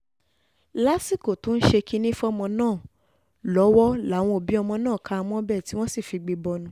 lásìkò tó ń ṣe kinní fọ́mọ náà lọ́wọ́ làwọn òbí ọmọ náà ká a mọ́bẹ̀ tí wọ́n sì figbe bọnu